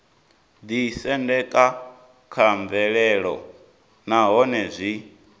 ḓisendeka kha mvelelo nahone zwi